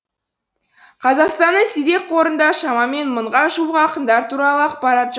қазақстанның сирек қорында шамамен мыңға жуық ақындар туралы ақпарат